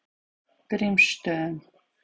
Grímsstöðum